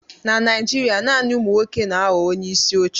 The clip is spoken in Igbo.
Na Naijiria, naanị ụmụ nwoke na-aghọ onyeisi oche.